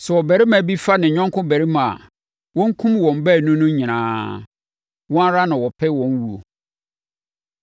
“ ‘Sɛ ɔbarima bi fa ne yɔnko barima a, wɔnkum wɔn baanu no nyinaa. Wɔn ara na wɔpɛ wɔn wuo.